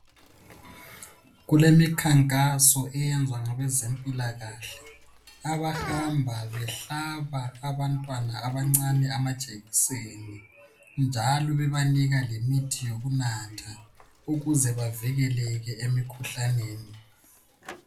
Kulemikhankaso eyenzwa ngabezemphilakahle. Abahamba behlaba abantwana abancane amajekiseni njalo bebanika lemithi yonakutha ukuze bavikeleke emikhuhlaneni.